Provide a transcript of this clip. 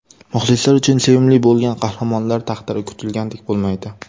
Muxlislar uchun sevimli bo‘lgan qahramonlar taqdiri kutilgandek bo‘lmaydi.